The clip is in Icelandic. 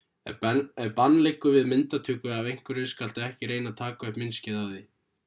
ef bann liggur við myndatöku af einhverju skaltu ekki reyna að taka upp myndskeið af því